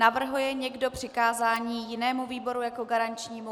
Navrhuje někdo přikázání jinému výboru jako garančnímu?